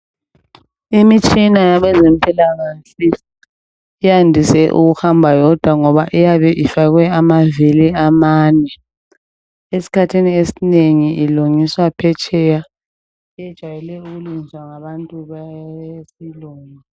Imitshina yabezampikahle yandise ukuhamba yodwa ngoba iyabe ifakwe amavili amane. Esikhathini esinengi ilungiswa phetsheya ijayele ukulungiswa ngabantu besilungu.